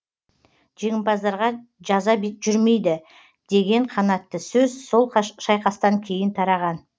жеңімпаздарға жаза жүрмейді деген қанатты сөз сол шайқастан кейін тараған